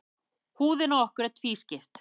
Húðin á okkur er tvískipt.